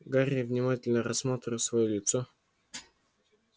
гарри внимательно рассматривал своё лицо в